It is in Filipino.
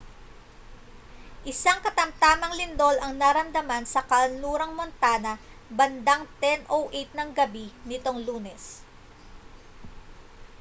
isang katamtamang lindol ang naramdaman sa kanlurang montana bandang 10:08 ng gabi nitong lunes